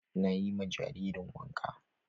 Na yi ma jaririn wanka.